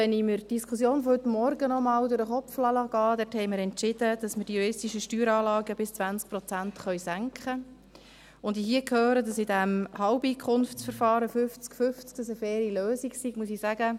Wenn ich mir die Diskussion von heute Morgen noch einmal durch den Kopf gehen lasse, nach der wir entschieden haben, dass wir die juristischen Steueranlagen bis 20 Prozent senken können, und ich hier höre, dass dieses Halbeinkommensverfahren 50/50 eine faire Lösung sei, muss ich sagen: